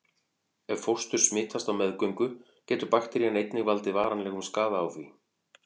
Ef fóstur smitast á meðgöngu getur bakterían einnig valdið varanlegum skaða á því.